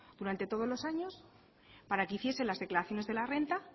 durante todos los años para que hiciesen las declaraciones de la renta